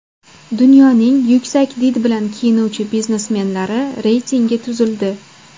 Dunyoning yuksak did bilan kiyinuvchi biznesmenlari reytingi tuzildi .